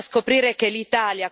È una vergogna!